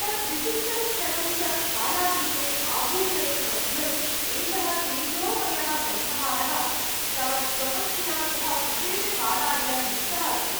तत् विशिष्टं क्षणं च कालातीते आभूषणे बध्नन् एषः तेजोमयः कण्ठहारः तव स्वपत्न्या सह विशेषकालाय युक्तः अस्ति।